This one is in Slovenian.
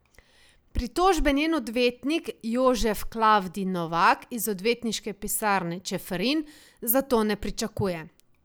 Pritožbe njen odvetnik Jožef Klavdij Novak iz Odvetniške pisarne Čeferin zato ne pričakuje.